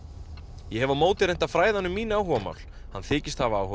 ég hef á móti reynt að fræða hann um mín áhugamál hann þykist hafa áhuga